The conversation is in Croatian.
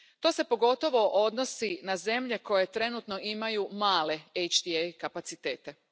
To se, pogotovo, odnosi na zemlje koje trenutno imaju male HTA kapacitete.